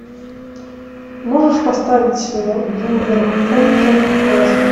можешь поставить вулверхэмптон лестер